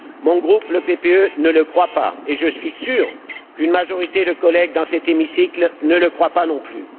Mon groupe, le PPE, ne le croit pas, et je suis sûr qu'une majorité de collègues dans cet hémicycle ne le croient pas non plus.